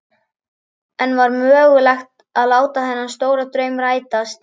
En var mögulegt að láta þennan stóra draum rætast?